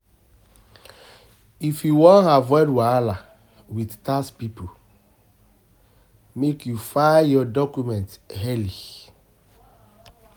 If you wan avoid wahala wit tax pipo, make you file your documents early.